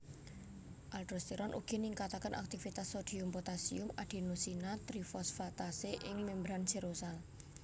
Aldosteron ugi ningkataken aktivitas sodium potasium adenosina trifosfatase ing membran serosal